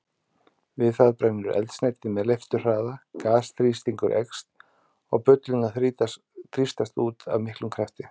Við það brennur eldsneytið með leifturhraða, gasþrýstingur eykst og bullurnar þrýstast út af miklum krafti.